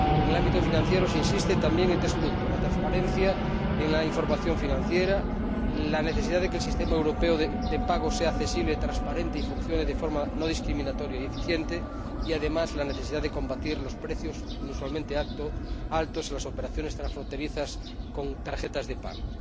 En el ámbito financiero se insiste también en tres puntos la transparencia en la información financiera, la necesidad de que el sistema europeo de pagos sea accesible y transparente y funcione de forma no discriminatoria y eficiente y, además, la necesidad de combatir los precios inusualmente altos en las operaciones transfronterizas con tarjetas de pago.